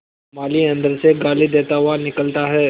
माली अंदर से गाली देता हुआ निकलता है